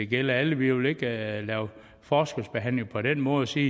gælde alle vi vil ikke lave forskelsbehandling på den måde og sige